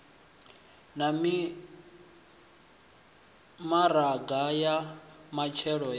na mimaraga ya matshelo ya